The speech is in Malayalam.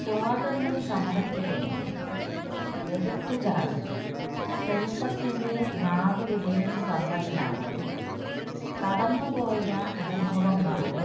സ്വാതന്ത്ര്യസമരത്തിലേക്ക് എടുത്തുചാടി ചെറുപ്പത്തിലേ നാടുവിടേണ്ടിവന്നതിനാല് കടന്നുപോയ അനുഭവങ്ങളുടെ